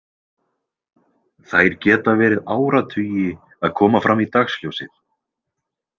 Þær geta verið áratugi að koma fram í dagsljósið.